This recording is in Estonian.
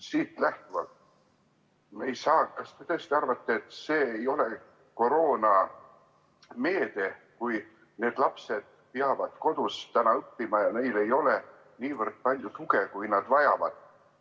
Siit lähtuvalt: kas te tõesti arvate, et see ei ole koroonameede, kui need lapsed peavad täna kodus õppima ja nad ei saa nii palju tuge, kui nad vajavad?